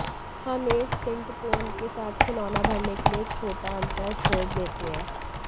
हम एक सिंटपोन के साथ खिलौना भरने के लिए एक छोटा अंतर छोड़ देते हैं